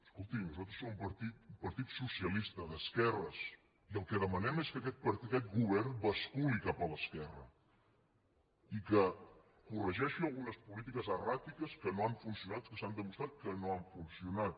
escoltin nosaltres som un partit un partit socialista d’esquerres i el que demanem és que aquest govern basculi cap a l’esquerra i que corregeixi algunes polítiques erràtiques que no han funcionat que s’ha demostrat que no han funcionat